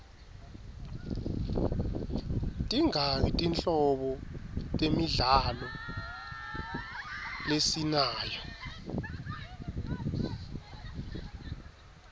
tingaki tinhlobo temidlalo lesinayo